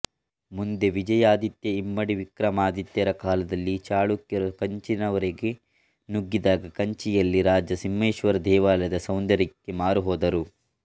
ಮುಂದೆ ವಿಜಯಾದಿತ್ಯ ಇಮ್ಮಡಿ ವಿಕ್ರಮಾದಿತ್ಯರ ಕಾಲದಲ್ಲಿ ಚಳುಕ್ಯರು ಕಂಚಿಯವರೆಗೆ ನುಗ್ಗಿದಾಗ ಕಂಚಿಯಲ್ಲಿ ರಾಜ ಸಿಂಹೇಶ್ವರ ದೇವಾಲಯದ ಸೌಂದರ್ಯಕ್ಕೆ ಮಾರುಹೋದರು